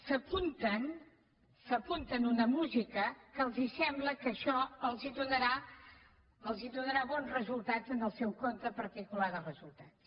s’apunten a una música que els sembla que els donarà bons resultats en el seu compte particular de resultats